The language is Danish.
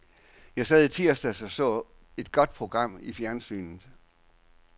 Jeg sad i tirsdags og så et godt program i fjernsynet.